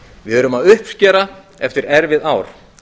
við erum að uppskera eftir erfið ár